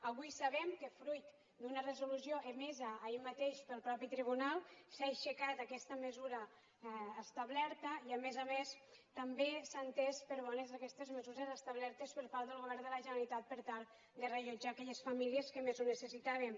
avui sabem que fruit d’una resolució emesa ahir mateix pel mateix tribunal s’ha aixecat aquesta mesura establerta i a més a més també s’han entès per bones aquestes mesures establertes per part del govern de la generalitat per tal de reallotjar aquelles famílies que més ho necessitaven